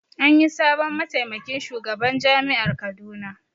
Anyi sabon mataimakin shugaban jami'ar Kaduna